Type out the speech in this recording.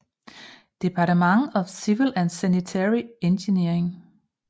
Department of Civil and Sanitary Engineering